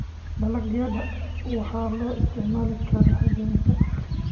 Dalagyada waxaa loo isticmaali karaa habaynta.